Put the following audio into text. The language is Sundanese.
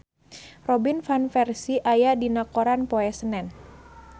Robin Van Persie aya dina koran poe Senen